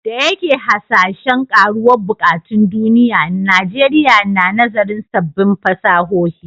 Da yake hasashen karuwar buƙatun duniya, Najeriya na nazarin sabbin fasahohi.